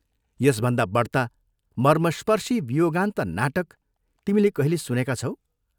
यसभन्दा बढ्ता मर्मस्पर्शी वियोगान्त नाटक तिमीले कहिले सुनेका छौ?